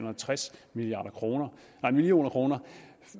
og tres million million kr